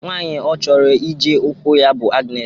Nwaanyị Ọ chọrọ ije okwu ya bụ Agnes.